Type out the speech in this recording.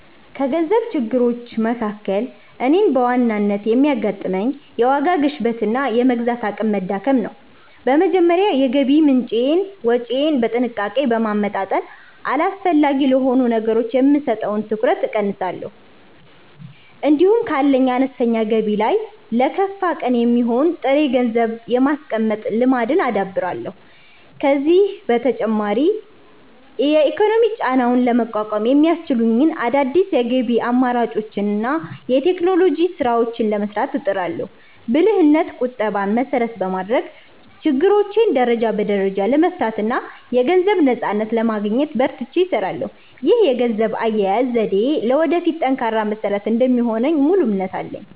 ከገንዘብ ችግሮች መካከል እኔን በዋናነት የሚያጋጥመኝ፣ የዋጋ ግሽበትና የመግዛት አቅም መዳከም ነው። በመጀመሪያ የገቢ ምንጬንና ወጪዬን በጥንቃቄ በማመጣጠን፣ አላስፈላጊ ለሆኑ ነገሮች የምሰጠውን ትኩረት እቀንሳለሁ። እንዲሁም ካለኝ አነስተኛ ገቢ ላይ ለከፋ ቀን የሚሆን ጥሬ ገንዘብ የማስቀመጥ ልማድን አዳብራለሁ። ከዚህም በተጨማሪ የኢኮኖሚ ጫናውን ለመቋቋም የሚያስችሉኝን አዳዲስ የገቢ አማራጮችንና የቴክኖሎጂ ስራዎችን ለመስራት እጥራለሁ። ብልህነትና ቁጠባን መሰረት በማድረግ፣ ችግሮቼን ደረጃ በደረጃ ለመፍታትና የገንዘብ ነፃነትን ለማግኘት በርትቼ እሰራለሁ። ይህ የገንዘብ አያያዝ ዘዴዬ ለወደፊቱ ጠንካራ መሰረት እንደሚሆንልኝ ሙሉ እምነት አለኝ።